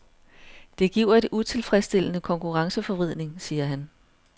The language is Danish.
Det giver en utilfredsstillende konkurrenceforvridning, siger han.